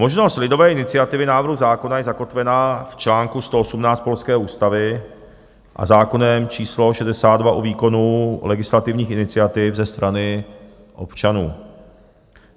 Možnost lidové iniciativy návrhu zákona je zakotvena v čl. 118 polské ústavy a zákonem č. 62 o výkonu legislativních iniciativ ze strany občanů.